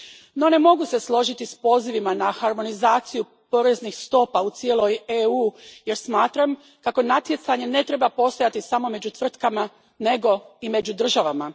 No, ne mogu se složiti s pozivima na harmonizaciju poreznih stopa u cijelom EU u jer smatram kako natjecanje ne treba postojati samo među tvrtkama, nego i među državama.